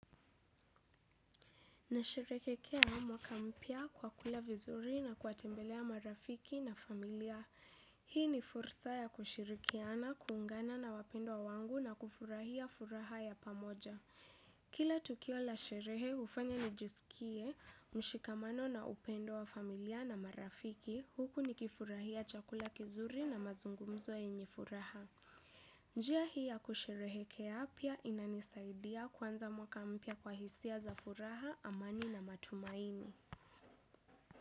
Nasherehekea mwaka mpya kwa kula vizuri na kuwatembelea marafiki na familia. Hii ni fursa ya kushirikiana, kuungana na wapendwa wangu na kufurahia furaha ya pamoja. Kila tukio la sherehe hufanya nijisikie mshikamano na upendo wa familia na marafiki, huku nikifurahia chakula kizuri na mazungumzo yenye furaha. Njia hii ya kusherehekea pia inanisaidia kuanza mwaka mpya kwa hisia za furaha, amani na matumaini.